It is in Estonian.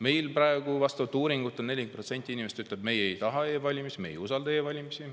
Meil ütles vastaval uuringul 40% inimesi, et nad ei taha e-valimisi, ei usalda e-valimisi.